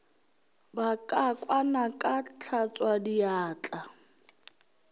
ba ka kwana ka hlatswadiatla